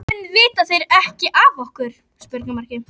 Hér voru allar vinnandi hendur vel þegnar.